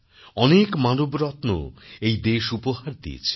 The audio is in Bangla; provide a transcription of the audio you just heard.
অনেক মানবরত্ন এই দেশ উপহার দিয়েছে